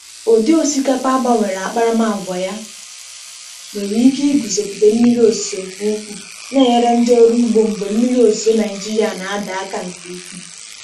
Ụdị osikapa a gbanwere n’akparamàgwà ya nwere ike iguzogide mmiri ozuzo nke ukwuu, na-enyere ndị ọrụ ugbo mgbe mmiri ozuzo Naịjirịa na-ada aka nke ukwuu.